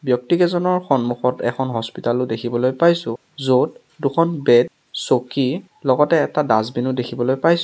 ব্যক্তিকেইজনৰ সন্মুখত এখন হস্পিটেল ও দেখিবলৈ পাইছোঁ য'ত দুখন বেড চকী লগতে এটা ডাষ্টবিন ও দেখিবলৈ পাইছোঁ।